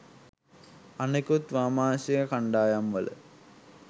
අනිකුත් වාමාංශික කන්ඩායම් වල